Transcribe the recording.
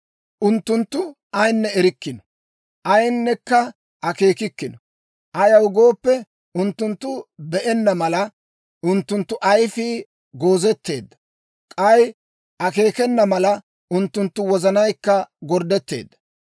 Unttunttu ayinne erikkino; ayinekka akeekikkino. Ayaw gooppe, unttunttu be'enna mala, unttunttu ayfii goozetteedda; k'ay akeekena mala, unttunttu wozanaykka gorddetteedda.